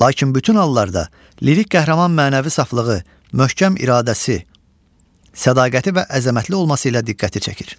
Lakin bütün hallarda lirik qəhrəman mənəvi saflığı, möhkəm iradəsi, sədaqəti və əzəmətli olması ilə diqqəti çəkir.